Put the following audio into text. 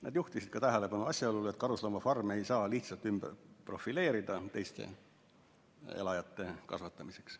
Nad juhtisid ka tähelepanu asjaolule, et karusloomafarme ei saa lihtsalt ümber profileerida teiste elajate kasvatamiseks.